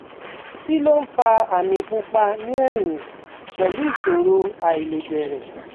Kí ló ń fa àmì pupa ní ẹ̀yìn pẹ̀lú ìṣòro àìlebẹ̀rẹ̀?